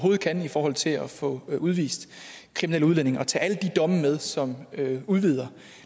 kan i forhold til at få udvist kriminelle udlændinge og tage alle de domme med som udvider